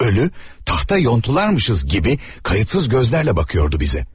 Ölü taxta yonulmuşuq kimi laqeyd gözlərlə bizə baxırdı.